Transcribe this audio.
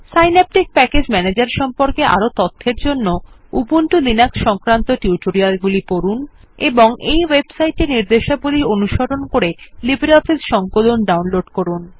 Synaptic package ম্যানেজের সম্পর্কে আরও তথ্যের জন্য উবুন্টু লিনাক্স সংক্রান্ত টিউটোরিয়ালগুলি পড়ুন এবং এই ওয়েবসাইট এর নির্দেশাবলী অনুসরণ করে লিব্রিঅফিস সংকলন ডাউনলোড করুন